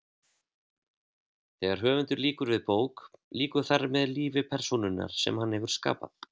Þegar höfundur lýkur við bók lýkur þar með lífi persónunnar sem hann hefur skapað.